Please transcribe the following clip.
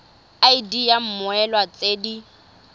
id ya mmoelwa tse di